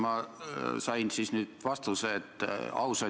Ja selles osas ma igal juhul nõustun temaga.